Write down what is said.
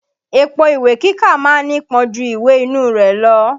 Èpo ìwé kíkà ma ń nípọn ju ìwè inú rẹ̀ lọ.